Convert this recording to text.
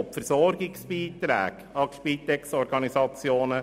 Sie betrifft die Versorgungsbeiträge an die Spitexorganisationen.